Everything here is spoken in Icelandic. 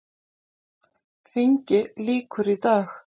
Þingi lýkur í dag.